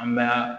An b'a